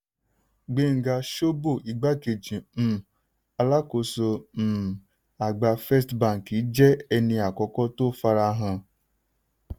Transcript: gbenga shobo ìgbákẹ̀jì um alákóso um àgbà first bank jẹ́ ẹni àkọ́kọ́ tó fara hàn.